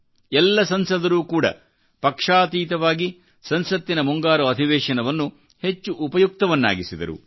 ಎಲ್ಲಾ ಸಂಸದರೂ ಕೂಡ ಪಕ್ಷಾತೀತವಾಗಿ ಸಂಸತ್ತಿನಮುಂಗಾರು ಅಧಿವೇಶನವನ್ನು ಹೆಚ್ಚು ಉಪಯುಕ್ತವನ್ನಾಗಿಸಿದರು